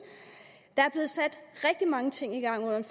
der er blevet sat rigtig mange ting i gang under